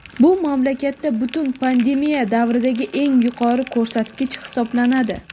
Bu mamlakatda butun pandemiya davridagi eng yuqori ko‘rsatkich hisoblanadi.